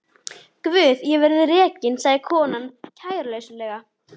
Guð ég verð rekin, sagði konan kæruleysislega.